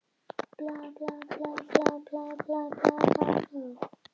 Í ofninum mallaði lambalæri og kartöflur lágu í sykri á pönnunni.